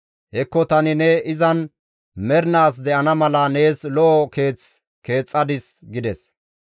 Hekko tani ne izan mernaas de7ana mala nees lo7o keeth keexxadis» gides.